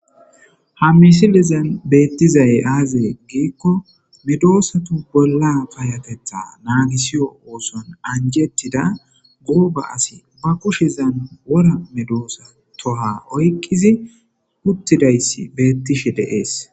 ha misilizan beettizay aazee giikko midoosatu bolla kayatetha naagisiyo ooson anjettida guuba asi ba kushezan wora medoosa toha oykkizi uttidayss beettishe deees